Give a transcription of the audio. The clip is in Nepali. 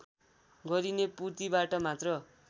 गरिने पूर्तिबाट मात्र